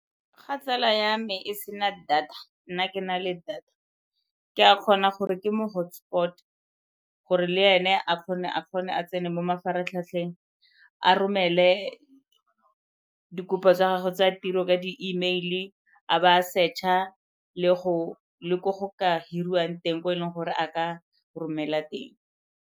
Ga tsala ya me e sena data nna ke na le data ke a kgona gore ke mo hotspot, gore le ene a kgone a tsene mo mafaratlhatlheng a romele dikopo tsa gagwe tsa tiro ka di-e-mail-i a ba a search-a le ko go ka hiriwang teng ko e leng gore a ka romela teng.